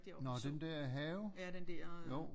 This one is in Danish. Nåh den der have jo